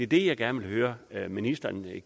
det jeg gerne høre ministeren